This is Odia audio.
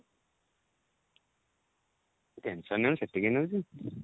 tension